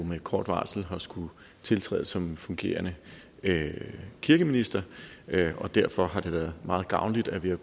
med kort varsel har skullet tiltræde som fungerende kirkeminister og derfor har det været meget gavnligt at vi har